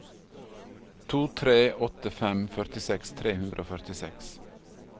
to tre åtte fem førtiseks tre hundre og førtiseks